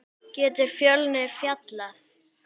Getur Fjölnir fallið?